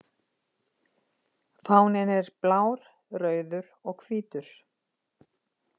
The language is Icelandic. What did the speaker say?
Fáninn er blár, rauður og hvítur.